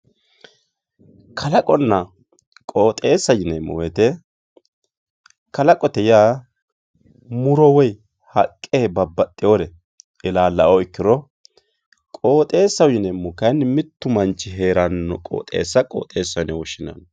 Kalaqonna qooxeessa yineemmo woyte kalaqote yaa muro haqqe woyi babbaxxewore ilalao qooxeesaho yineemmo mitu manchi heerano qooxeessa qooxeessaho yineemmo.